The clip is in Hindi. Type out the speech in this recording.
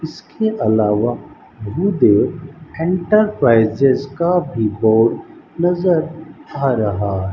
इसके अलावा इंटरप्राइजेज का भी बोर्ड नजर आ रहा --